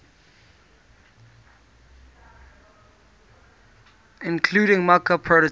including mockup prototype